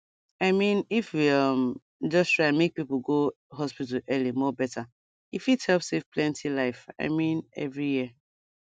i mean if we um just try make people go hospital early more better e fit help save plenty life i mean every year